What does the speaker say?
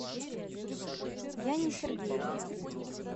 яне сергеевне